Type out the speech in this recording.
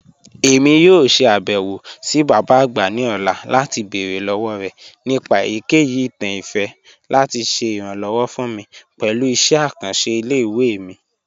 Emi yoo ṣe abẹwo si baba agba ni ọla lati beere lọwọ rẹ nipa eyikeyi itan ifẹ lati ṣe iranlọwọ fun mi pẹlu iṣẹ akanṣe ile-iwe mi.